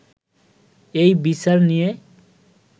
এই বিচার নিয়ে